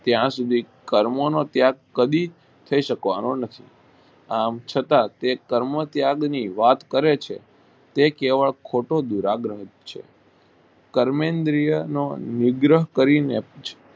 ત્યાં સુધી કર્મ નો ત્યાગ કદી થઇ શકવાનો નથી આમ છતાં તે કર્મ ત્યાગ ની વાત કરે છે તે કહેવત ખોટો બિરાગન છે કર્મ ઈન્દ્રી ઓ નિગ્રહ કરી ને